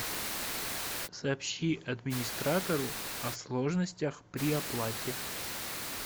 сообщи администратору о сложностях при оплате